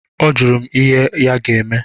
Ọjụrụ m ihe ya ga-eme.